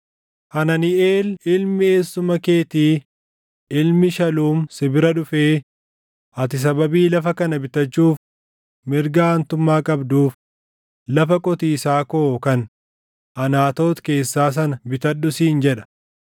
Hananiʼeel ilmi eessuma keetii ilmi Shaluum si bira dhufee, ‘Ati sababii lafa kana bitachuuf mirga aantummaa qabduuf lafa qotiisaa koo kan Anaatoot keessaa sana bitadhu’ siin jedha.